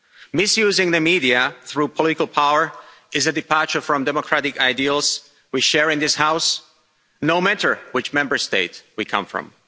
Misusing the media through political power is a departure from democratic ideals we share in this House, no matter which Member State we come from.